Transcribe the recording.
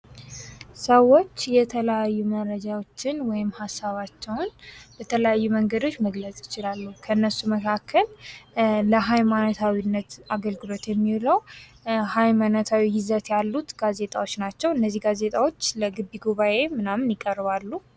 ሰዎች የተለያዩ መረጃዎችን ወይም ሐሳባቸውን የተለያዩ መንገዶች መግለጽ ይችላሉ። ከእነርሱ መካከል ለሃይማኖታዊነት አገልግሎት የሚውለው ሃይማኖታዊ ይዘት ያሉት ጋዜጣዎች ናቸው። እነዚህ ጋዜጣዎች ለግቢ ጉባኤ ምናምን ይቀርባሉ።